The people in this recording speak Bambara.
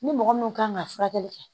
Ni mɔgɔ mun kan ka furakɛli kɛ